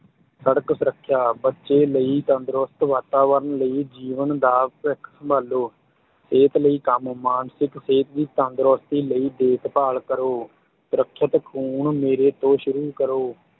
ਸੜਕ ਸੁਰੱਖਿਆ, ਬੱਚੇ ਲਈ ਤੰਦਰੁਸਤ ਵਾਤਾਵਰਣ ਲਈ ਜੀਵਨ ਦਾ ਭਵਿੱਖ ਸੰਭਾਲੋ, ਸਿਹਤ ਲਈ ਕੰਮ, ਮਾਨਿਸਕ ਸਿਹਤ ਦੀ ਤੰਦਰੁਸਤੀ ਲਈ ਦੇਖਭਾਲ ਕਰੋ, ਸੁਰੱਖਿਅਤ ਖੂਨ ਮੇਰੇ ਤੋਂ ਸ਼ੁਰੂ ਕਰੋ।